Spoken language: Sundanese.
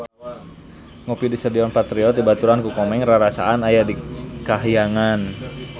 Ngopi di Stadion Patriot dibaturan ku Komeng rarasaan aya di kahyangan